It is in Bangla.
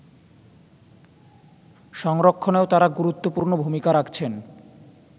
সংরক্ষণেও তারা গুরুত্বপূর্ণ ভূমিকা রাখছেন